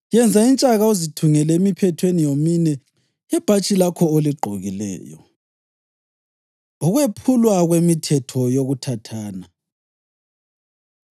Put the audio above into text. Yenza intshaka uzithungele emiphethweni yomine yebhatshi lakho oligqokileyo.” Ukwephulwa Kwemithetho Yokuthathana